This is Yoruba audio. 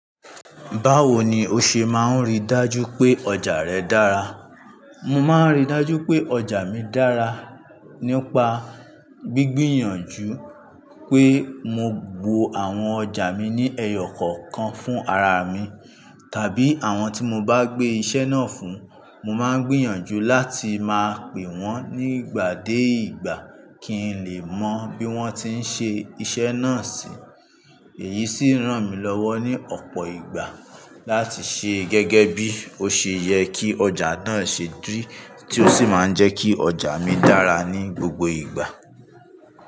Báwo ni o ṣe máa ń rí dájú pé ọjà rẹ dára? Mo máa ń rí dájú pé ọjà mi dára nípa gbígbìyànjú pé mo gbò àwọn ọjà mi ní ẹyọ kọ̀ọ̀kan fún ara mi, tàbí àwọn tí mo bá gbé iṣẹ́ náà fún. Mo máa ń gbìyànjú láti máa pè wọ́n nígbà dé ìgbà kí n lè mọ bí wọ́n ti ń ṣe iṣẹ́ náà ṣi. Èyí sì ń ràn mí lọ́wọ́ ní ọ̀pọ̀ ìgbà láti ṣe gẹ́gẹ́ bí ó ṣe yẹ kí ọjà náà ṣe ri tí ó sì máa ń jẹ́ kí ọjà mi dára ní gbogbo ìgbà.